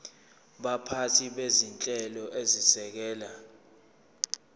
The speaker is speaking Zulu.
baphathi bezinhlelo ezisekela